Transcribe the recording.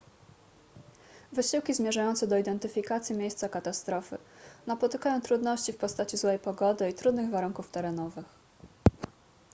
wysiłki zmierzające do identyfikacji miejsca katastrofy napotykają trudności w postaci złej pogody i trudnych warunków terenowych